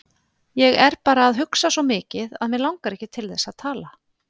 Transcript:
Ég er bara að hugsa svo mikið að mig langar ekki til þess að tala.